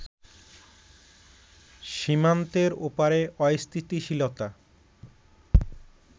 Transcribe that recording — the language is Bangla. সীমান্তের ওপারে অস্থিতিশীলতা